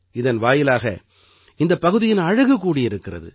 இதன் வாயிலாக இந்தப் பகுதியின் அழகு கூடியிருக்கிறது